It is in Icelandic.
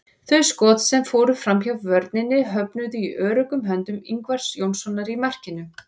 Þau skot sem fóru framhjá vörninni höfnuðu í öruggum höndum Ingvars Jónssonar í markinu.